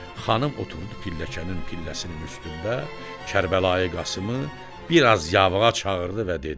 Xanım oturdu pilləcənin pilləsinin üstündə Kərbəlayı Qasımı bir az yavağa çağırdı və dedi: